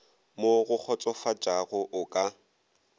mo go kgotsofatšago o ka